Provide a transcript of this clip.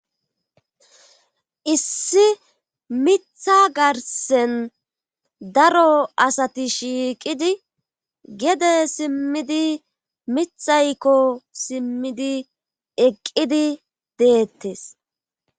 issi mitha garsen daro asati shiiqidi gede simmidi mithaykko simmidi eqqidi deettes